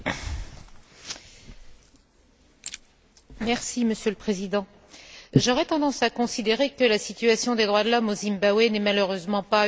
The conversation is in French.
Monsieur le Président, j'aurais tendance à considérer que la situation des droits de l'homme au Zimbabwe n'est malheureusement pas une urgence au sens où nous l'entendons habituellement dans cet hémicycle.